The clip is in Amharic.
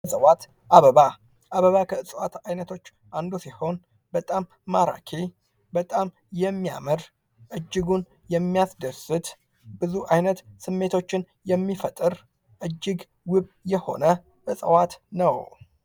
እጽዋት አበባ አበባ ከእፅዋት አይነቶች አንዱ ሲሆን በጣም ማራኪ በጣም የሚያምር እጅጉን የሚያስደስት ብዙ ዓይነት ስሜቶችን የሚፈጥር እጅግ ውብ የሆነ እጽዋት ነው።